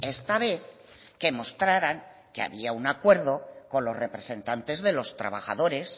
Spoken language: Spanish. esta vez que mostraran que había un acuerdo con los representantes de los trabajadores